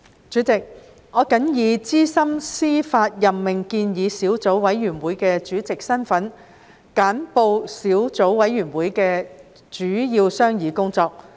主席，我謹以資深司法任命建議小組委員會主席的身份，簡報小組委員會的主要商議工作。